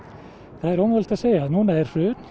það er ómögulegt að segja núna er hrun í